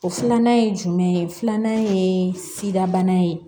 O filanan ye jumɛn ye filanan ye sida bana ye